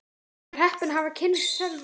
Ég var heppin að hafa kynnst Sölva.